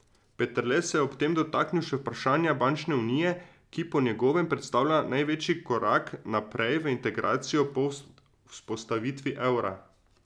Peterle se je ob tem dotaknil še vprašanja bančne unije, ki po njegovem predstavlja največji korak naprej v integracijo po vzpostavitvi evra.